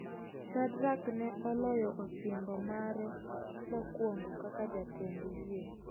Shadrak ne oloyo osimbo mare mokwongo kaka jatend yie.